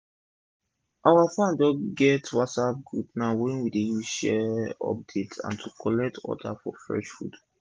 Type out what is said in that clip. our farm don get group for whatsapp now wey we dey use share update and to collect order for fresh food